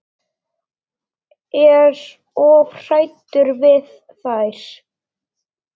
Er of hræddur við þær.